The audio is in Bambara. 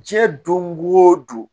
Diɲɛ don go don